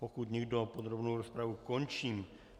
Pokud nikdo, podrobnou rozpravu končím.